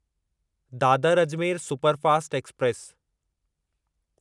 Dadar Ajmer superfast express